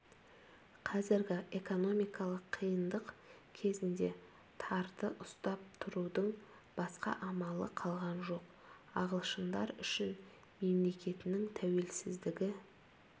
қазіргі эконмикалық қиындық кезінде тарды ұстап тұрудың басқа амалы қалған жоқ ағылшындар үшін мемлекетінің тәуелсіздігі